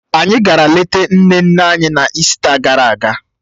Anyị gara lete nne nne anyị, n'ịsita gara aga